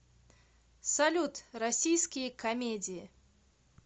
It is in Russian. салют российские камедии